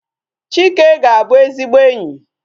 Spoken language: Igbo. Chike ga-abu ezigbo enyi